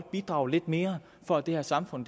bidrage lidt mere for at det her samfund